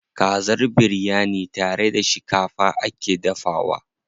Kazar biryani tare da shikafa ake dafawa.